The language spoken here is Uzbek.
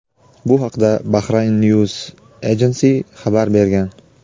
Bu haqda "Bahrain News Agency" xabar bergan.